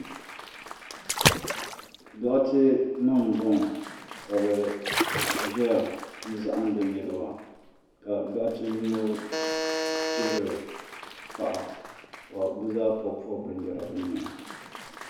Doɣitenima m-bɔŋɔ ka bɛ ʒeya zahindi niriba ka doɣite yino chibiri paɣa ka bɛ zaa pɔbi pɔbi binyɛra bɛ nyɛhi.